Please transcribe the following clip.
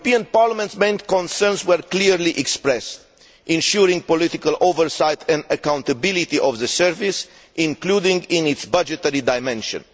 Parliament's main concerns were clearly expressed, ensuring political oversight and accountability of the service, including in its budgetary dimension.